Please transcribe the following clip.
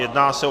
Jedná se o